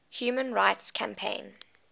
human rights campaign